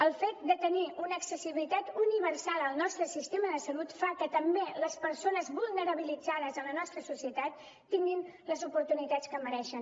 el fet de tenir una accessibilitat universal al nostre sistema de salut fa que també les persones vulnerabilitzades a la nostra societat tinguin les oportunitats que mereixen